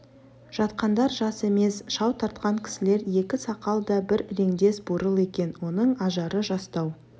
жатқандар жас емес шау тартқан кісілер екі сақал да бір іреңдес бурыл екен оның ажары жастау